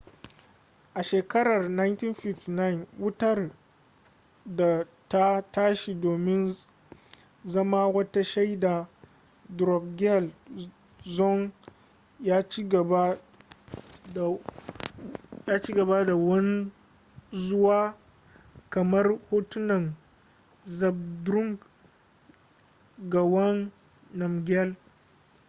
a shekarar 1951 wutar da ta tashi domin zama wata shaidar drukgyal dzong ya ci gaba da wanzuwa kamar hotunan zhabdrung ngawang namgyal